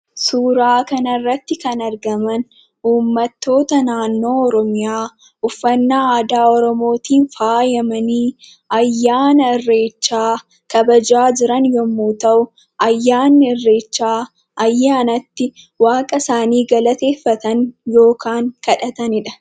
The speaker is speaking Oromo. Suuraa kanarratti kan argaman uummattoota naannoo Oromiyaa uffannaa aadaa Oromootiin faayamanii ayyaana Irreechaa kabajaa jiran yommuu ta'u, ayyaanni Irreechaa ayyaana itti waaqa isaanii galateeffatan yookaan kadhatanidha.